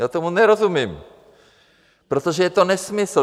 Já tomu nerozumím, protože je to nesmysl.